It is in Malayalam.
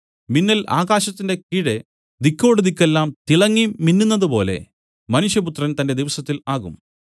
മിന്നൽ ആകാശത്തിന്റെ കീഴെ ദിക്കോടുദിക്കെല്ലാം തിളങ്ങി മിന്നുന്നതുപോലെ മനുഷ്യപുത്രൻ തന്റെ ദിവസത്തിൽ ആകും